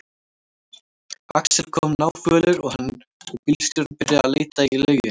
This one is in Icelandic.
Axel kom náfölur og hann og bílstjórinn byrjuðu að leita í lauginni.